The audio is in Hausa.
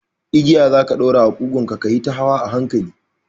Igiya za ka ɗaura a ƙugunka kayita hawa a hankali